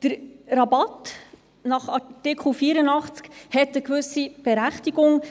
Der Rabatt nach Artikel 84 hatte eine gewisse Berechtigung.